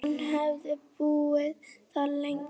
Hann hefði búið þar lengi.